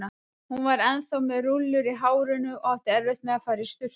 Hún var ennþá með rúllur í hárinu og átti eftir að fara í sturtu.